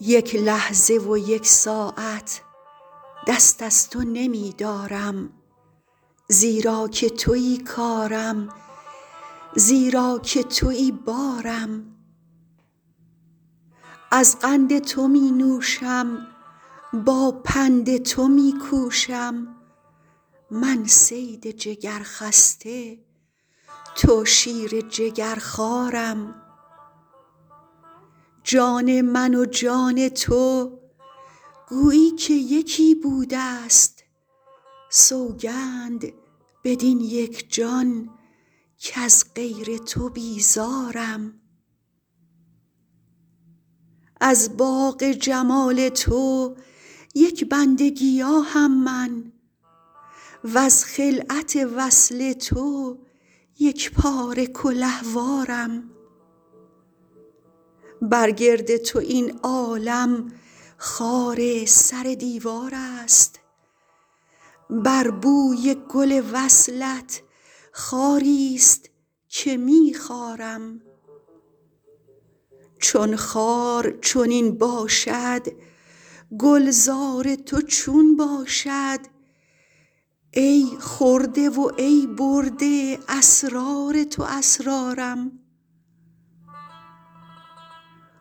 یک لحظه و یک ساعت دست از تو نمی دارم زیرا که توی کارم زیرا که توی بارم از قند تو می نوشم با پند تو می کوشم من صید جگرخسته تو شیر جگرخوارم جان من و جان تو گویی که یکی بوده ست سوگند بدین یک جان کز غیر تو بیزارم از باغ جمال تو یک بند گیاهم من وز خلعت وصل تو یک پاره کلهوارم بر گرد تو این عالم خار سر دیوار است بر بوی گل وصلت خاری است که می خارم چون خار چنین باشد گلزار تو چون باشد ای خورده و ای برده اسرار تو اسرارم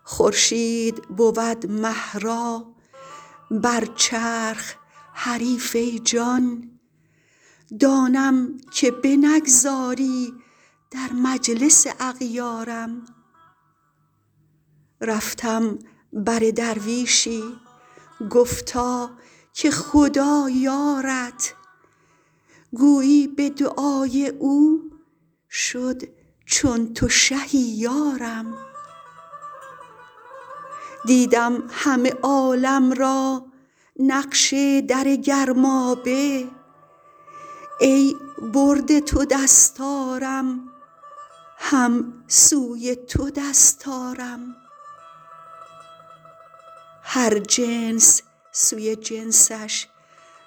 خورشید بود مه را بر چرخ حریف ای جان دانم که بنگذاری در مجلس اغیارم رفتم بر درویشی گفتا که خدا یارت گویی به دعای او شد چون تو شهی یارم دیدم همه عالم را نقش در گرمابه ای برده تو دستارم هم سوی تو دست آرم هر جنس سوی جنسش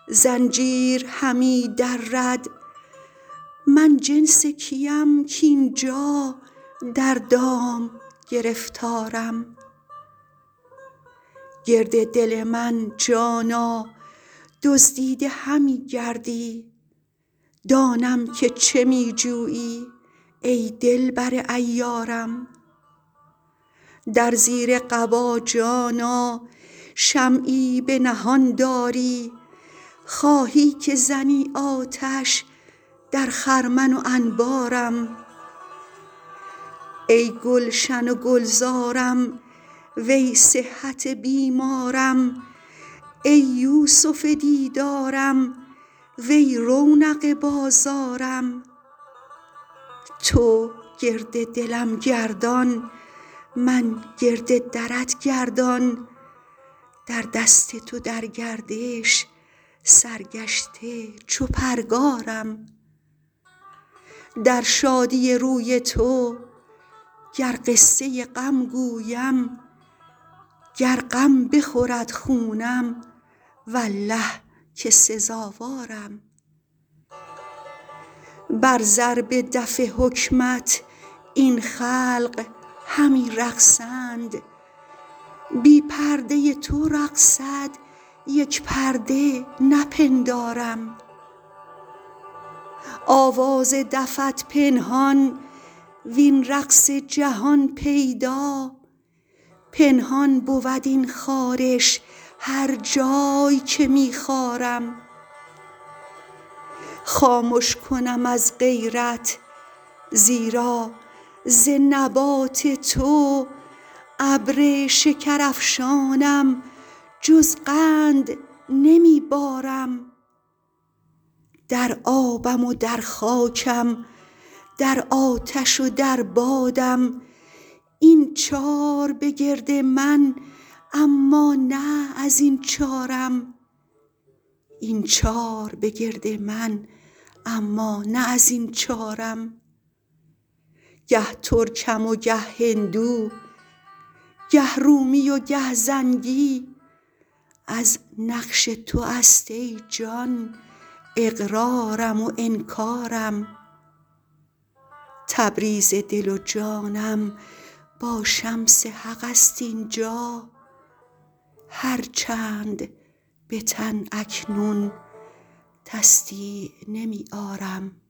زنجیر همی درد من جنس کیم کاین جا در دام گرفتارم گرد دل من جانا دزدیده همی گردی دانم که چه می جویی ای دلبر عیارم در زیر قبا جانا شمعی پنهان داری خواهی که زنی آتش در خرمن و انبارم ای گلشن و گلزارم وی صحت بیمارم ای یوسف دیدارم وی رونق بازارم تو گرد دلم گردان من گرد درت گردان در دست تو در گردش سرگشته چو پرگارم در شادی روی تو گر قصه غم گویم گر غم بخورد خونم والله که سزاوارم بر ضرب دف حکمت این خلق همی رقصند بی پرده تو رقصد یک پرده نپندارم آواز دفت پنهان وین رقص جهان پیدا پنهان بود این خارش هر جای که می خارم خامش کنم از غیرت زیرا ز نبات تو ابر شکرافشانم جز قند نمی بارم در آبم و در خاکم در آتش و در بادم این چار بگرد من اما نه از این چارم گه ترکم و گه هندو گه رومی و گه زنگی از نقش تو است ای جان اقرارم و انکارم تبریز دل و جانم با شمس حق است این جا هر چند به تن اکنون تصدیع نمی آرم